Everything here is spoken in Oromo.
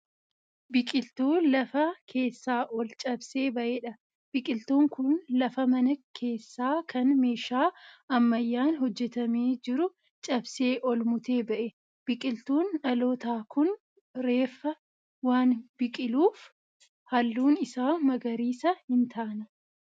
Biqiltuu lafa keessaa ol cabsee ba'eedha. Biqiltuun kun lafa mana keessaa kan meeshaa ammayyaan hojjetame jiru cabsee ol mutee ba'e. Biqiltuun dhalatoo kun reefa waan biqiluuf halluun isaa magariisa hin taane.